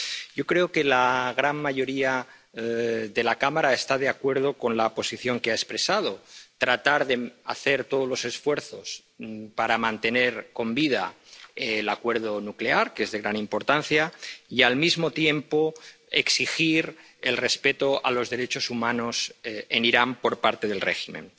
Yo creo que la gran mayoría de la Cámara está de acuerdo con la posición que ha expresado tratar de hacer todos los esfuerzos para mantener con vida el acuerdo nuclear, que es de gran importancia, y, al mismo tiempo, exigir el respeto a los derechos humanos en Irán por parte del régimen.